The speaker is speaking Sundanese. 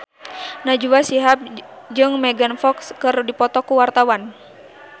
Najwa Shihab jeung Megan Fox keur dipoto ku wartawan